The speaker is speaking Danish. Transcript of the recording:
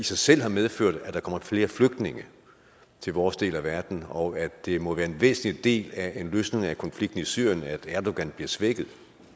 sig selv har medført at der kommer flere flygtninge til vores del af verden og at det må være en væsentlig del af en løsning af konflikten i syrien at erdogan bliver svækket